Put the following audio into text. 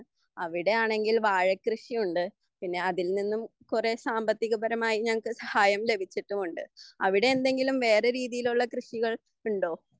അവിടെയാണെങ്കിൽ വാഴക്കൃഷിയുണ്ട് പിന്നെ അതിൽ നിന്നും കുറെ സാമ്പത്തികപരമായി സഹായം ലഭിച്ചിട്ടുമുണ്ട് അവിടെ എന്തെങ്കിലും വേറെരീതിയിലുള്ള കൃഷികൾ ഉണ്ടോ